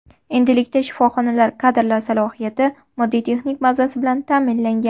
Endilikda shifoxonalar kadrlar salohiyati, moddiy texnik bazasi bilan ta’minlangan.